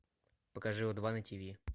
покажи о два на тиви